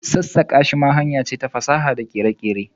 sassaka shi ma hanyar ce ta fasaha da kere-kere.